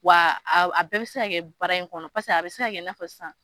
Wa a bɛ bi se ka kɛ baara in kɔnɔ, paseke a bi se ka kɛ i n'a fɔ san